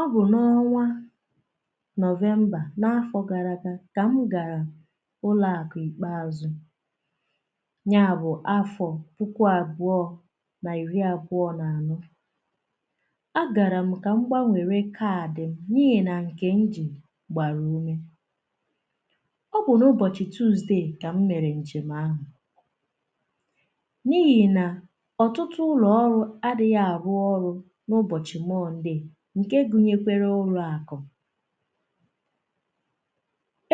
Ọ bụ n'ọnwa Novemba n'afọ gara aga ka m gara ụlọakụ ikpeazụ ya bụ afọ puku abụọ na iri abụọ na anọ agaram ka m gbanwere kaadị m n'ihi na nkè m ji gbara ume ọ bụ n’ubochi Tuuzde ka m mere njem ahụ n'ihi na ọtụtụ ụlọ ọrụ adịghị arụ ọrụ n'ubochi Mọnde nke gụnyekwara ụlọakụm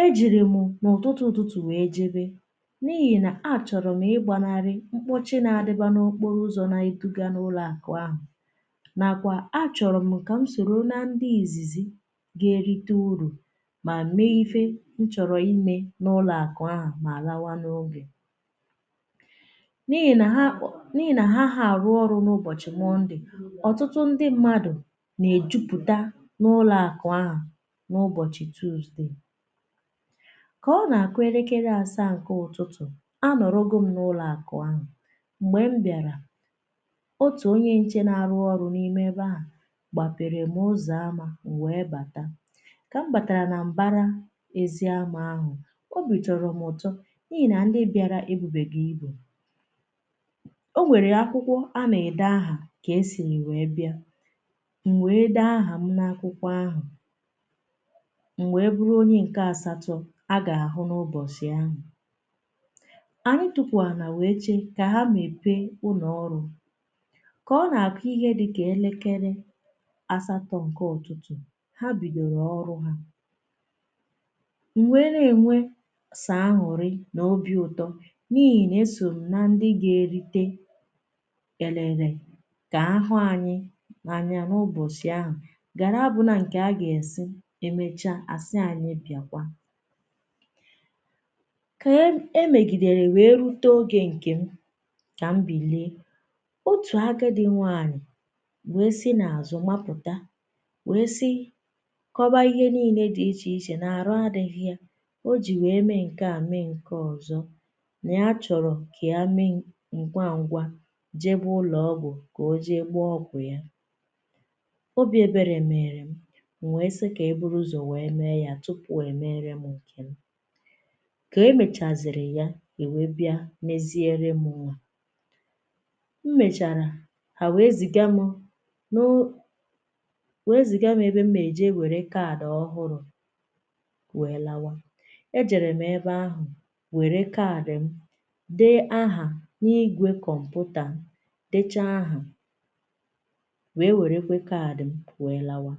e jiri m n'ututu ụtụtụ wee jebe n'ihi na achọrọm ịgbanarị mkpọchi n'adịba n'okporo ụzọ na-eduga n'ụlọakụ ahụ nakwa achọrọm ka m soro na ndị izizi ga erite uru ma mee ihe m chọrọ ime n'ụlọakụ ahụ ma lawa n'oge n’ihi na ha anaghị arụ ọrụ n'ubochi Mọnde ọtụtụ ndị mmadụ na-ejupụta n'ụlọakụ ahụ n’ubochi Tuuzde ka ọ n’akụ elekere asaa nke ụtụtụ anọrọgom n'ụlọakụ ahụ mgbe m bịara otu onye nche na-arụ ọrụ n'ime ébé ahụ gbapeerem ụzọ ámá m wee bata ka m batara na mbara ezi ama ahụ Obi tọrọ m ụtọ n'ihi na ndị bịara ebubeghị ibu e nwere akwụkwọ ana-ede aha ka esinu wee bịa na wee dee aham n'akwụkwọ ahụ m wee bụrụ Onye nke asatọ aga-ahụ n'ubọsị ahụ anyị tukwu ala wee che ka ha mepee ụlọ ọrụ ka ọ n'akụ ihe dị ka elekere asatọ nke ụtụtụ ha bidoro ọrụ ha m wee na-enwe sọ añụrị na Obi ụtọ n'ihi na eso m na ndị ga erite elele ka ahụ anyị anya n’ubọsị ahụ ga n’abụna nkè aga-asị emechaa emechaa asị anyị bịakwa ka e megidere wee rute oge nkem ka m bilie otu agadi nwanyị wee si n'azụ mapụta wee sị kọba ihe niile dị iche ichè ná arụ adịhị ya o ji wee mee nkea mee nke ọzọ na ya chọrọ ka yá mee ngwa ngwa jebe ụlọ ọgwụ ka o jee gbaa ọgwụ ya obi ebere meerem ma wee sị ka eburu uzọ wee meere ya tupu emeerem nkem ka emechaziri ya e wee bịa meziere mụ yá m mechara ha wee ziga mụ nụụ wee ziga mụ ebe m ga eje were kaadị ọhụrụ wee lawa ejerem ebe ahụ were kaadị m dee aha n'igwe kọmputa dechaa aha wee werekwe kaadị m wee lawa